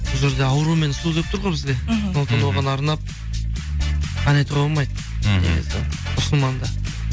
бұл жерде ауру мен су деп тұр ғой бізде мхм сондықтан да оған арнап ән айтуға болмайды деген сияқты мұсылманда